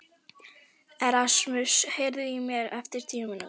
Erasmus, heyrðu í mér eftir tíu mínútur.